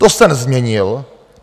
To jste nezměnil.